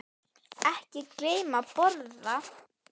Ekki gleyma að borða.